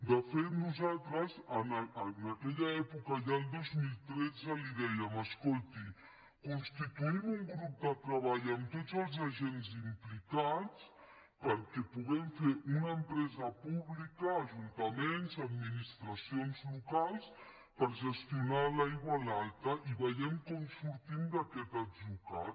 de fet nosaltres en aquella època ja el dos mil tretze li dèiem escolti constituïm un grup de treball amb tots els agents implicats perquè puguem fer una empresa pública ajuntaments administracions locals per gestionar l’aigua en alta i vegem com sortim d’aquest atzucac